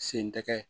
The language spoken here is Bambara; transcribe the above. Sen tɛ kɛ